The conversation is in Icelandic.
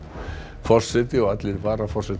forseti og allir varaforsetar